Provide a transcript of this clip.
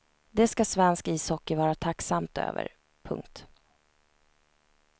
Det ska svensk ishockey vara tacksamt över. punkt